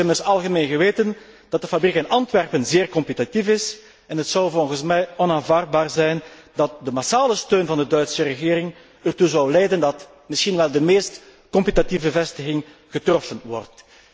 Het is immers algemeen bekend dat de fabriek in Antwerpen zeer competitief is en het zou volgens mij onaanvaardbaar zijn dat de massale steun van de Duitse regering ertoe zou leiden dat misschien wel de meest competitieve vestiging getroffen wordt.